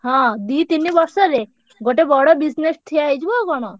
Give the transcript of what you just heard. ହଁ ଦି ତିନି ବର୍ଷରେ ଗୋଟେ ବଡ business ଠିଆ ହେଇଯିବ ଆଉ କଣ?